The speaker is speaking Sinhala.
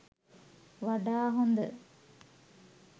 වඩා හොඳ.